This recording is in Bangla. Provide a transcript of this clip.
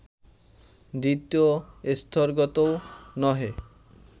দ্বিতীয় স্তরগতও নহে